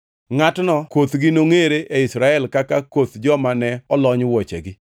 Ngʼatno kothgi nongʼere e Israel kaka koth joma ne olony wuochegi.